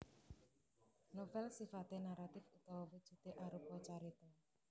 Novèl sifaté naratif utawa wujudé arupa carita